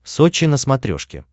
сочи на смотрешке